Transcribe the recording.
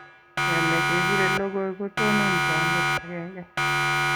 Keme kepire lokoi, kotonon tondet agenge